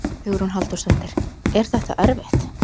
Hugrún Halldórsdóttir: Er þetta erfitt?